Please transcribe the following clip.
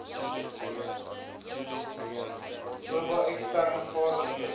oba eksterne vaardighede